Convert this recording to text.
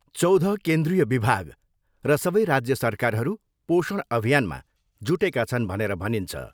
चौध केन्द्रीय विभाग र सबै राज्य सरकारहरू पोषण अभियानमा जुटेका छन् भनेर भनिन्छ।